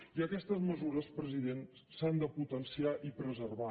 i aquestes mesures president s’han de potenciar i preservar